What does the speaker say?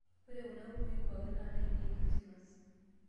ore kuna kukui poikin naa nainei ekirisimas